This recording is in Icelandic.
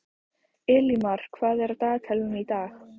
Elímar, hvað er á dagatalinu í dag?